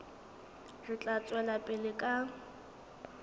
re tla tswela pele ka